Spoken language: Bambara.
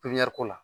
Pipiniyɛri ko